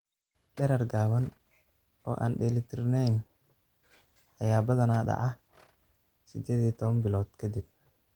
Dherer gaaban oo aan dheellitirnayn ayaa badanaa dhaca 18 bilood ka dib.